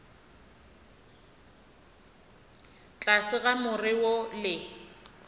tlase ga more wo le